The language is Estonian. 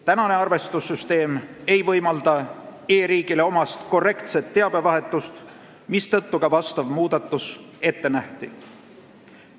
Praegune arvestussüsteem ei võimalda e-riigile omast korrektset teabevahetust, mistõttu ka see muudatus ette nähti.